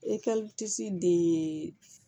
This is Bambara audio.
de